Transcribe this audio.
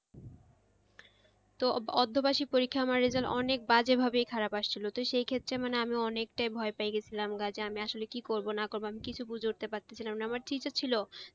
তো পরীক্ষার result অনেক বাজে ভাবেই খারাপ এসেছিলো তো তো সেক্ষেত্রে মানে অমি অনেকটাই ভয় পেয়েগেছিলাম আমি আসলে কি করবো না করবো কিছু বুঝে উঠতে পারছিলাম না কিন্তু ছিল।